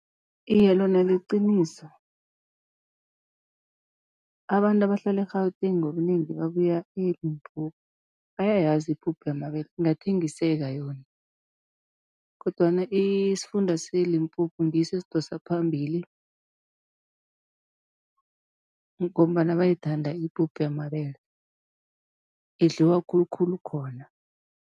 Iye lona liqiniso, abantu abahlala eGauteng ngobunengi babuya eLimpopo bayayazi ipuphu yamabele ingathengiseka yona. Kodwana isifunda seLimpopo ngiso esidosa phambili, ngombana bayayithanda ipuphu yamabele, idliwa khulukhulu khona.